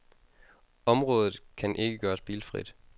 Området kan ikke gøres bilfrit.